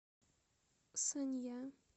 санья